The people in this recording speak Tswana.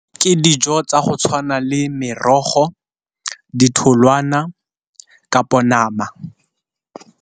Ke dijo tsa go tshwana le merogo, ditholwana, kapo nama.